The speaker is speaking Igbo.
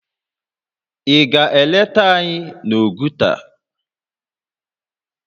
Ị ga-eleta anyị n'Oguta?